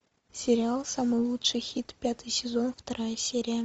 сериал самый лучший хит пятый сезон вторая серия